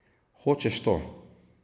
Hočeš to?